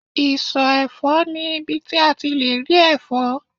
iso efo ni ibi ti a le ri efo